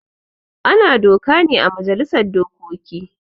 Ana doka ne ã majalisar dokoki.